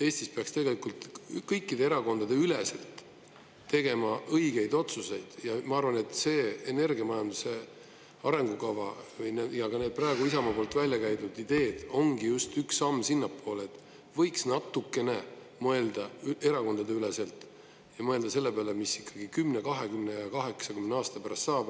Eestis peaks tegelikult kõikide erakondade üleselt tegema õigeid otsuseid ja ma arvan, et see energiamajanduse arengukava ja ka need praegu Isamaa poolt välja käidud ideed ongi just üks samm sinnapoole, et võiks natukene mõelda erakondadeüleselt ja mõelda selle peale, mis ikkagi 10, 20, 80 aasta pärast saab.